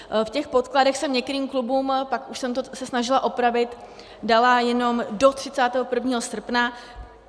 V těch podkladech jsem některým klubům, pak už jsem se to snažila opravit, dala jenom do 31. srpna.